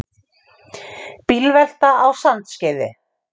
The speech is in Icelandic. Bílvelta á Sandskeiði